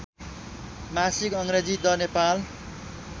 मासिक अङ्ग्रेजी द नेपाल